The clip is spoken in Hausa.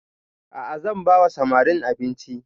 A'a zan ba wa samarin abinci